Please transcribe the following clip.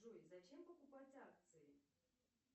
джой зачем покупать акции